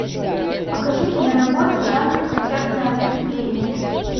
покажи киноработу жанр концертное выступление